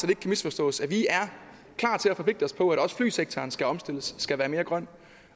kan misforstås at vi er klar til forpligte os på at også flysektoren skal omstilles skal være mere grøn